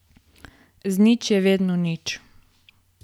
Z nič je vedno nič.